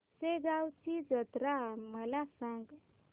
शेगांवची जत्रा मला सांग